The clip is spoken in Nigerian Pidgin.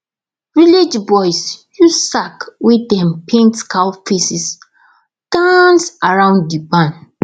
village boys use sack wey dem paint cow faces dance around the barn